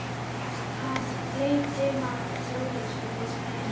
Hann á heima í Ólafsfirði, sagði Emil.